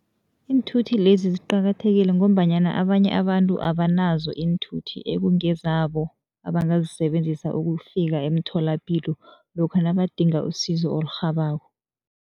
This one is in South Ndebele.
Iinthuthi lezi ziqakathekile ngombanyana abanye abantu abanazo iinthuthi ekungezabo, abangazisebenzisa ukufika emtholapilo lokha nabadinga usizo olurhabako.